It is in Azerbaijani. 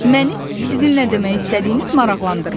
Məni sizin nə demək istədiyiniz maraqlandırmır.